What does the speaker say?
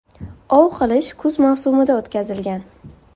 Ov qilish kuz mavsumida o‘tkazilgan.